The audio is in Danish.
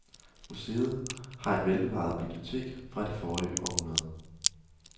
Museet har et velbevaret bibliotek fra det forrige århundrede.